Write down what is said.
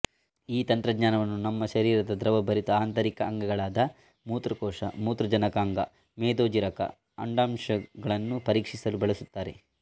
ಈ ತಂತ್ರಜ್ನಾನವನ್ನು ನಮ್ಮ ಶರೀರದ ದ್ರವ ಭರಿತ ಆಂತರಿಕ ಅಂಗಗಳಾದ ಮೂತ್ರಕೋಶಮೂತ್ರಜನಕಾಂಗಮೇದೋಜೀರಕಅಂಡಾಶಯಗಳನ್ನು ಪರೀಕ್ಷಿಸಲು ಬಳಸುತ್ತಾರೆ